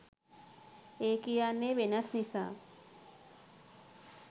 ඒ කියන්නේ වෙනස් නිසා